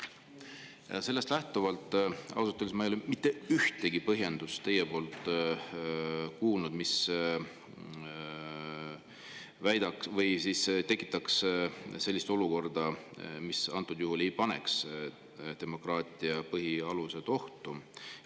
Ja sellest lähtuvalt, et ausalt öeldes ma ei ole teilt kuulnud mitte ühtegi põhjendust, kuidas me sellist olukorda, kus demokraatia põhialused satuvad ohtu.